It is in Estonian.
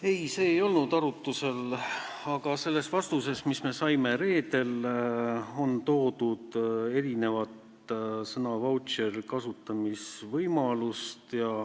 Ei, see ei olnud arutusel, aga selles vastuses, mis me saime reedel, toodi ära sõna "vautšer" mitu kasutamisvõimalust.